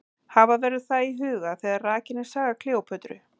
Hafa verður það í huga þegar rakin er saga Kleópötru.